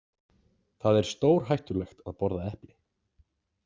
Það er stórhættulegt að borða epli.